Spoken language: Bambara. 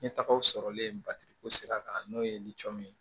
Ɲɛtagaw sɔrɔlen batiri ko sira kan n'o ye ye